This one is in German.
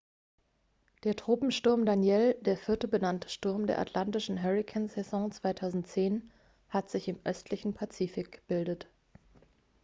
der tropensturm danielle der vierte benannte sturm der atlantischen hurrikansaison 2010 hat sich im östlichen atlantik gebildet